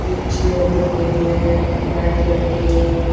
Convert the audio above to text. एक चेयर दिख रही है एक लाइट जल रही है।